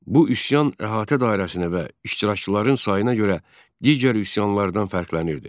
Bu üsyan əhatə dairəsinə və iştirakçıların sayına görə digər üsyanlardan fərqlənirdi.